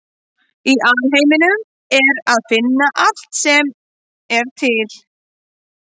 Í alheiminum er að finna allt sem er til.